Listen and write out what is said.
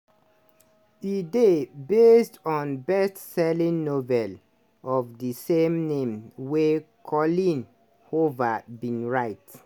e dey based on best selling novel of di same name wey coleen hoover bin write.